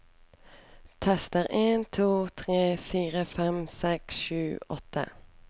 Tester en to tre fire fem seks sju åtte